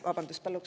Vabandust!